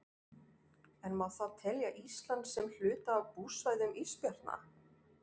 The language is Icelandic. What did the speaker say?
En má þá telja Ísland sem hluta af búsvæðum ísbjarna?